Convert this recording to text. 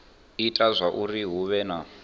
ita zwauri hu vhe na